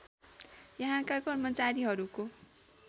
यहाँका कर्मचारीहरूको